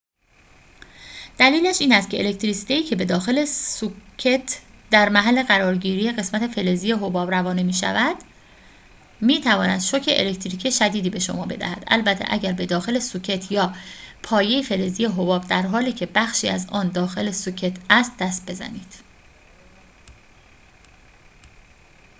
دلیلش این است که الکتریسیته‌ای که به داخل سوکت در محل قرارگیری قسمت فلزی حباب روانه می‌شود می‌تواند شوک الکتریکی شدیدی به شما بدهد البته اگر به داخل سوکت یا پایه فلزی حباب در حالی که بخشی از آن داخل سوکت است دست بزنید